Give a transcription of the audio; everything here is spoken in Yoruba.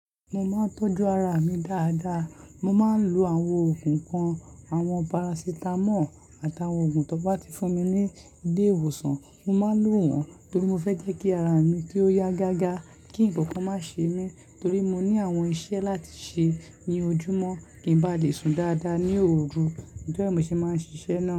Mo máa ń tọ́jú ara mi dáadáa. Mo máa ń lo àwọn oògùn kan, àwọn parasitamọ́ọ̀ àtàwọn oògùn tó bá ti fún mi ní ilé ìwòsàn, mo máa ń lo wọ́n torí mo fẹ́ jẹ́ kí ara mi kí ó yá gágá, kí ǹkankan má ṣe mí torí mo ní àwọn iṣẹ́ láti ṣe ní ojúmọ́ kí ń bá lè sùn dáadáa ní òru. Be ni mo ṣe máa ń ṣiṣẹ́ náà.